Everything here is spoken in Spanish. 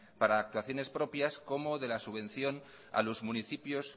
para actuaciones propias como de la subvención a los municipios